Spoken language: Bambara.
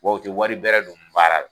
Bawo u ti wari bɛrɛ don baara la.